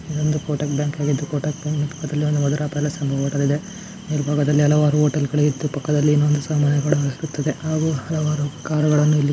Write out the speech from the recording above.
ಒಂದು ಡೋರ್ ಇದೆ ಚಿಕ್ಕ ಚಿಕ್ಕ ದಾದ ವಿಂಡೋ ಇದೆ ಕೆಳಗಡೆ ಕೂಡ ಒಂದು ಬ್ಲಾಕೆಟ್ ಹಾಕಿದಾರೆ ಡಿಸೈನ್ ಇರೋದು ಕೂಡ ಒಂದು ಬುಕ್ ಇಡೋ ರಾಕ್ ಇದೆ .